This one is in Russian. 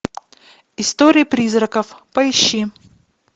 история призраков поищи